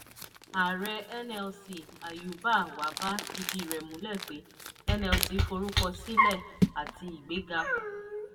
ààrẹ nlc ayuba wabba fìdí rẹ̀ múlẹ̀ pé nlc forúkọ sílẹ̀ àti ìgbéga.